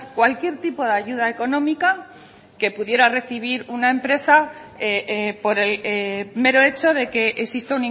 cualquier tipo de ayuda económica que pudiera recibir una empresa por el mero hecho de que existe